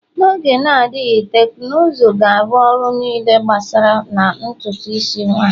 N'oge na-adịghị, teknụzụ ga-arụ ọrụ niile a gbasara na ntutu isi nwanyị